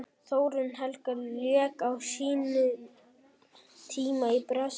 Þórunn Helga lék á sínum tíma í Brasilíu.